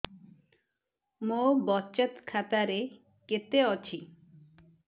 ମୋ ବଚତ ଖାତା ରେ କେତେ ଅଛି